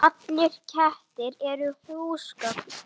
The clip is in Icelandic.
Norðrið dregur sífellt fleiri að.